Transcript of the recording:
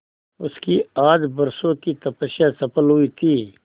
उसकी आज बरसों की तपस्या सफल हुई थी